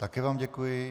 Také vám děkuji.